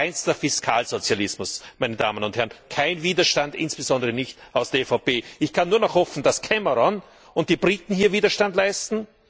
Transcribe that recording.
Das ist reinster Fiskalsozialismus, meine Damen und Herren, kein Widerstand, insbesondere nicht aus der EVP. Ich kann nur noch hoffen, dass Cameron und die Briten hier Widerstand leisten.